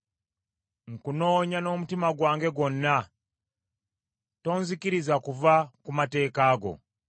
Nkunoonya n’omutima gwange gwonna; tonzikiriza kuva ku mateeka go.